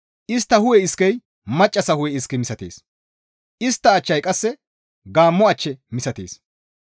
Istta hu7e iskey maccassa hu7e iske misatees; istta achchey qasse gaammo ach misatees.